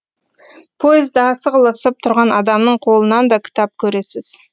пойызда сығылысып тұрған адамның қолынан да кітап көресіз